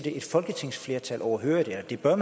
et folketingsflertal overhørig det bør